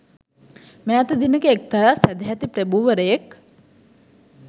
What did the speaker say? මෑත දිනක එක්තරා සැදැහැති ප්‍රභූවරයෙක්